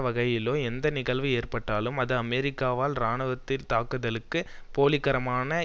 வகையிலோ எந்த நிகழ்வு ஏற்பட்டாலும் அது அமெரிக்காவால் இராணுவ தாக்குதலுக்கு போலி காரணமாக